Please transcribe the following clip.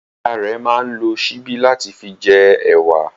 Ìyá rẹ̀ máa ń lo síbí láti fi jẹ ẹ̀wà.